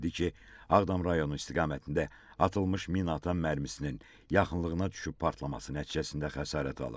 Ağdam rayonu istiqamətində atılmış minaatan mərmisinin yaxınlığına düşüb partlaması nəticəsində xəsarət alıb.